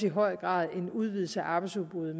i høj grad en udvidelse af arbejdsudbuddet